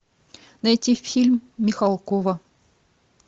найти фильм михалкова